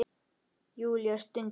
Júlía stundi.